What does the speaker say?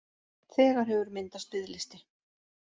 Þegar hefur myndast biðlisti